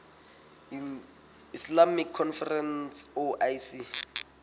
islamic conference oic